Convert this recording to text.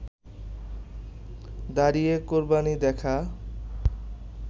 দাঁড়িয়ে কোরবানি দেখা